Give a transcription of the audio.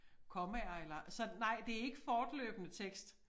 Kommaer eller så nej det ikke fortløbende tekst